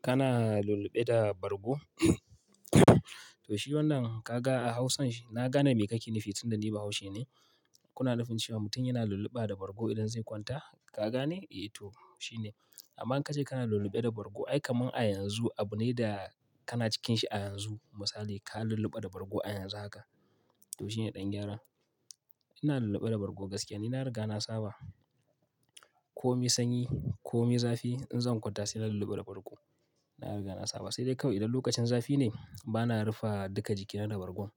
Kana lulluɓe da bargo? To shi wannan kaga a hausan, na gane me kake nufi tunda ni baushi ne. Kuna nufin cewa mutum yana lulluɓa da bargo idan zai kwanta? Ka gane? Eh to, shine. Amma in ka ce kana lulluɓe da bargo ai kamar a yanzu, abu ne da kana cikin shi a yanzu. Misali, ka lulluɓa da bargo a yanzu haka. To shine ɗan gyara. Ina lulluɓe da bargo gaskiya, ni na riga na saba. Ko mai sanyi ko mai zafi, in zan kwanta sai na lulluɓa da bargo. Na riga na saba. Sai dai kawai idan lokacin zafi ne, bana rufe duka jikina da bargon.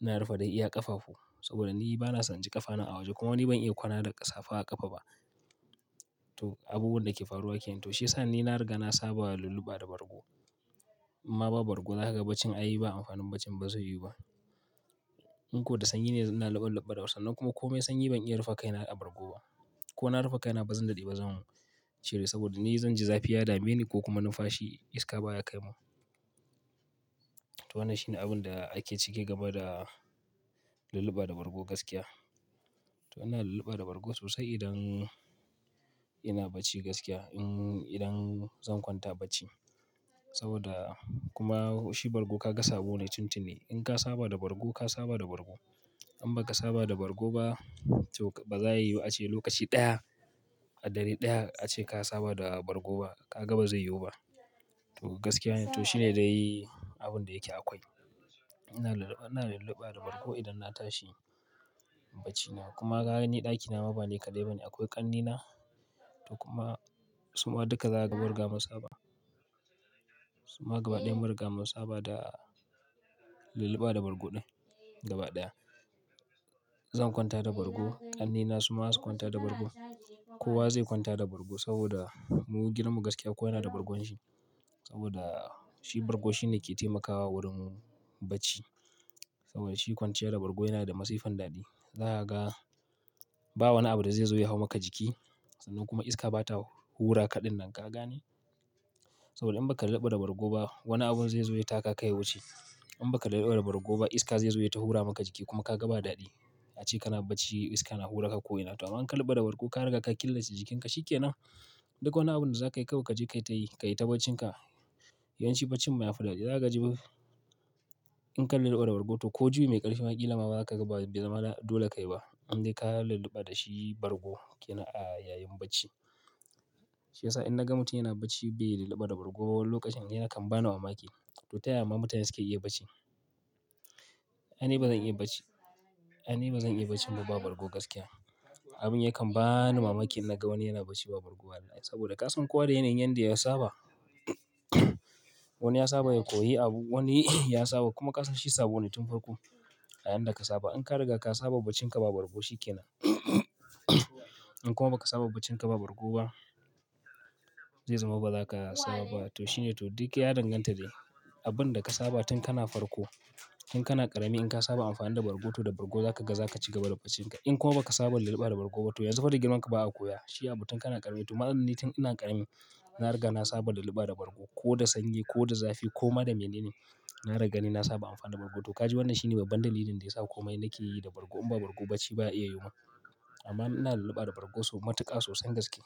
Na rufe dai iya ƙafafu saboda ni bana son ji ƙafana a waje kuma ni ban iya kwana da ƙasa fa a ƙafa ba. To, abubuwan da ke faruwa ke nan to, shi ya sa ni na riga na saba lulluɓa da bargo. Amma ba bargo za ka ga bacin a yi ba, amfanin bacin ba zai yiwu ba. In ko da sanyi ne, ina luɓe luɓe da san nan kuma ko mai sanyi ban iya rufe kai na a bargo ba. Ko na rufe kai na ba zan daɗe ba zan cire saboda ni zan ji zafi ya dame ni ko kuma numfashi iska baya kai mum. To, wannan shine abin da ake ciki game da lulluɓa da bargo gaskiya. To ina lulluɓa da bargo sosai idan ina bacci gaskiya, in idan zan kwanta bacci. Saboda kuma shi bargo ka ga sabo ne tun tuni. In ka saba da bargo, ka saba da bargo. In ba ka saba da bargo ba, to ba za ya yiwu a ce lokaci ɗaya, a dare ɗaya a ce ka saba da bargo ba. Ka ga ba zai yiwu ba. To gaskiya ne, to shi ne dai abin da yake akwai. Ina lulluɓa, ina lulluɓa da bargo idan na tashi bacina kuma ga ni ɗakina ma ba ne kaɗai bane, akwai ƙannena to kuma su ma duka za su ga barga mu saba. Su ma gaba ɗaya munriga mun saba da lulluɓa da bargo ɗin gaba ɗaya. Zan kwanta da bargo, ƙannena su ma zasu kwanta da bargo. Kowa zai kwanta da bargo saboda mu girmam gaskiya kowa yana da bargon shi. Saboda shi bargo shine ke taimakawa wurin bacci. Saboda shi kwanciya da bargo yana da masifan daɗi. Za kaga ba wani abu da zai zo ya hau maka jiki sannan kuma iska bata hura kaɗin nan. Ka gane? To in ba ka lulluɓa da bargo ba, wani abu zai zo ya taka ka ya wuce. In ba ka lulluɓa da bargo ba iska zai zo ya hura maka jiki kuma ka ga ba daɗi. A ce kana bacci iska na hura ka ko ina. To amma in ka lulluɓa da bargo, ka riga ka killace jikinka. Shi ke nan. Duk wani abun da za ka yi kawai ka je ka yi ta yi, ka yi ta bacinka. Yawanci baccin mu ya fi daɗi. Zai ka ji in ka lulluɓa da bargo to ko juna biyu mai ƙarfi magila ma ba ka ga ba zama dole ka yi ba. Indai ka lulluɓa da shi bargo ke nan a yayin bacci. Shi ya sa in naga mutum yana bacci bai lulluɓa da bargo ba lokacin yana kan bani mamaki. To ta yaya ma mutane suke iya bacci? Ni ba zan iya bacci, ai ni ba zan iya bacci in ba bargo gaskiya. Abin yake ban mamaki in naga wani yana bacci ba bargo ba daɗi. Saboda ƙasan kuwa da yana yin yanda ya saba. Wani ya saba da ya koyi abu, wani ya saba kuma ƙasa shi sabo ne tun farko. A yanda ka saba. In ka riga ka saba baccin ka ba bargo shi ke nan. In kuma ba ka saba baccin ka ba bargo ba, zai zama ba za ka saba ba. To shi ne, to duk ya danganta da abin da ka saba tun kana farko. In kana ƙarami in ka saba amfani da bargo to da bargo za ka ga za ka ci gaba da bacinka. In kuma ba ka saba lulluɓa da bargo ba to yanzu fa da girman ka ba a koya. Shi abu tun kana ƙarami. To ma'anar ni tun ina ƙarami, na riga na saba da lulluɓa da bargo. Ko da sanyi ko da zafi ko ma da mene ne, na riga ni na saba amfani da bargo. To ka ji wannan shine babban dalilin da ya sa komai na ke yi da bargo. In ba bargo bacci ba ya iya yiwuwa. Amma ina lulluɓa da bargo so matuƙa sosai gaskiya.